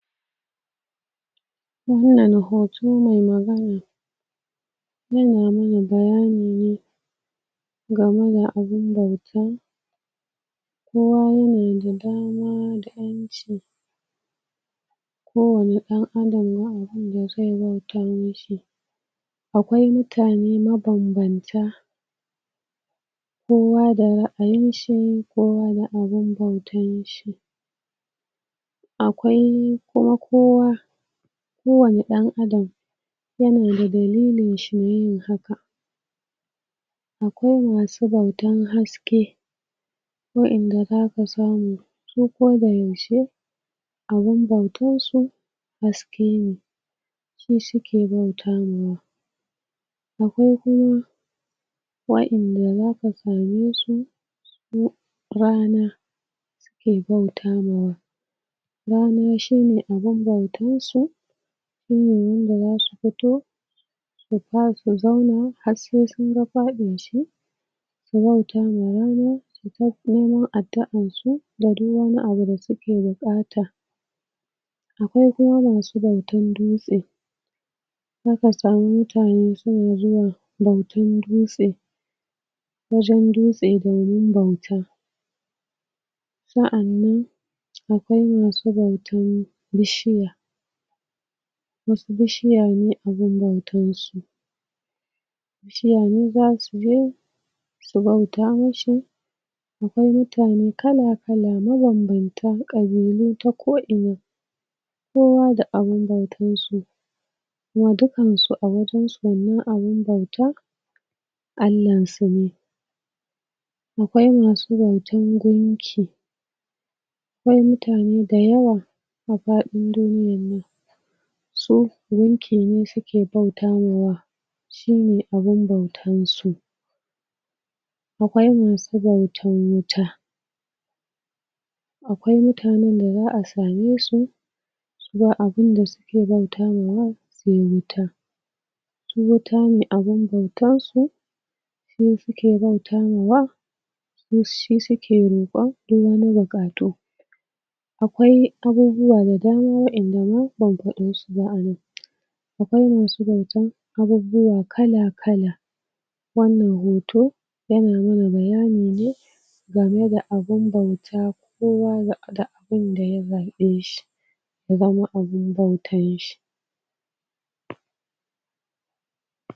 Wannan hoto mai magana yana mana bayani ne game da abunda mutum kowa yana da dama da ƴanci kowani ɗan adam akwai abun da zai bauta mishi akwai mutane ma banbanta kowa da ra'ayi shi, kowa da abun da abun bautan shi akwai kuma kowa kowani ɗan adam yanada dalilin shi na yin haka akwai masu bautan haske waƴanda zasu samu, su koda yaushe abun bautan su haske ne su suke bauta ma wa akwai kuma waƴanda zaka same su duk ranar suke bauta mawa rana shine abun bautar su waƴannan da zasu fito su sa zauna har sai sunga faɗin shi su bauta ma rana su faɗo addu'an su da duk wani abun da suke buƙata akwai kuma masu bautan dutse sai ka samu mutane suna zuwa bautan dutse wajan dutse da wurun bauta sa'annan akwai masu bautan bishiya wasu bishiya ne abun bautan su bishiyayi za su je su bauta mi shi da kuma mutane kala-kala, mabanbanta kabilu ta ko'ina kowa da abun bautan su mu dukkansu a wajansu mu abun bauta Allan su ne akwai masu bautan gunki akwai mutane dayawa a faɗ in duniyan nan su gunki ne suke bauta ma wa shine abun bautan su akwai masu bautan wuta akwai mutanen da za'a same su ba abun da suke bauta mawa sai wuta su wuta ne abun bautan su su suke bauta mawa don shi suke roƙo dan wani buƙatu akwai abubuwa da dama waƴanda za'a iya faɗan su ba anan akwai masu bautan abubuwa kala-kala wannan hoto yana nuna bayani ne game da abun bauta, kowa da abun da ya zaɓe shi ya zama abun bautan shi